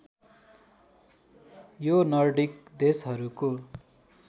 यो नर्डिक देशहरूको